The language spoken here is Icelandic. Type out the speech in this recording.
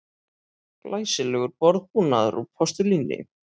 Glæsilegur borðbúnaður úr postulíni